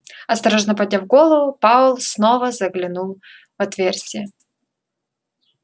осторожно подняв голову пауэлл снова заглянул в отверстие